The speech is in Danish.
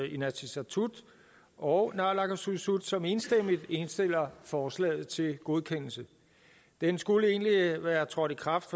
inatsisartut og naalakkersuisut som enstemmigt indstiller forslaget til godkendelse det skulle egentlig være trådt i kraft